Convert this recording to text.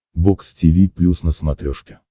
бокс тиви плюс на смотрешке